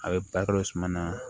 A bɛ balo suma na